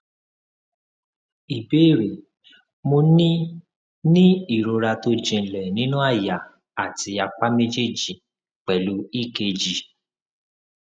ìbéèrè mo ní ní ìrora tó jinlẹ nínú àyà àti apá méjèèjì pelu ekg